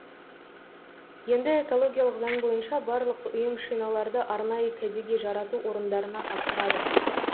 енді экологиялық заң бойынша барлық ұйым шиналарды арнайы кәдеге жарату орындарына тапсырады